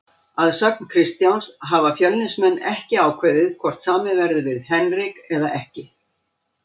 Að sögn Kristjáns hafa Fjölnismenn ekki ákveðið hvort samið verði við Henrik eða ekki.